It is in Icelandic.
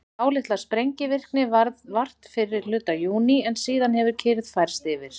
dálítillar sprengivirkni varð vart fyrri hluta júní en síðan hefur kyrrð færst yfir